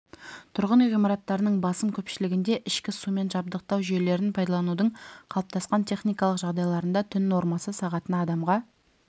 тұрғын үй ғимараттарының басым көпшілігінде ішкі сумен жабдықтау жүйелерін пайдаланудың қалыптасқан техникалық жағдайларында түн нормасы сағатына адамға